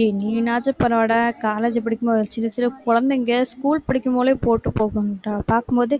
ஏய் நீனாச்சும் பரவாயில்லைடா college படிக்கும்போது சின்னச் சின்ன குழந்தைங்க school படிக்கும் போதே போட்டுப்போகும், அஹ் பாக்கும் போது